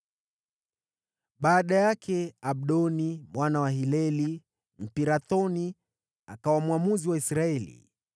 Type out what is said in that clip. Baada yake, Abdoni mwana wa Hileli, Mpirathoni, akawa mwamuzi wa Israeli.